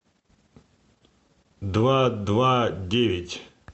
два два девять